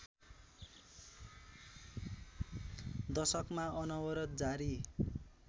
दशकमा अनवरत जारी